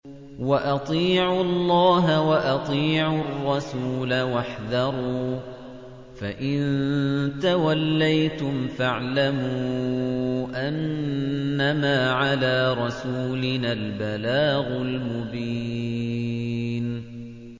وَأَطِيعُوا اللَّهَ وَأَطِيعُوا الرَّسُولَ وَاحْذَرُوا ۚ فَإِن تَوَلَّيْتُمْ فَاعْلَمُوا أَنَّمَا عَلَىٰ رَسُولِنَا الْبَلَاغُ الْمُبِينُ